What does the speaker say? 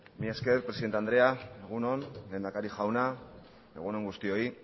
mila esker presidente andrea egun on lehendakari jauna egunon guztioi